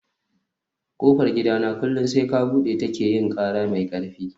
kofar gidana kullum sai ka bude ta ke yin kara mai karfi